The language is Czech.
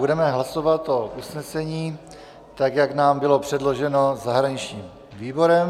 Budeme hlasovat o usnesení, tak jak nám bylo předloženo zahraničním výborem.